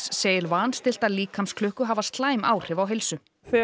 segir líkamsklukku hafa slæm áhrif á heilsu